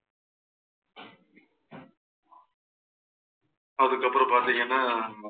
அதுக்கப்புறம் பாத்தீங்கன்னா